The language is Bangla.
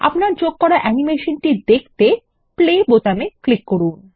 আপনার যোগ করা অ্যানিমেশনটি দেখতে প্লে বোতামে ক্লিক করুন